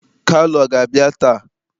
Kalu ọ ga-abịa taa?